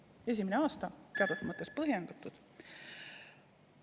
See oli esimene aasta, seega on see teatud mõttes põhjendatud.